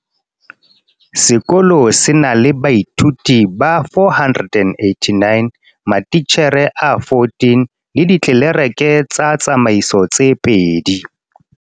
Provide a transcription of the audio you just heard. Sekolo se na la baithuti ba 489, matitjhere a14, le ditlelereke tsa tsamaiso tse babedi.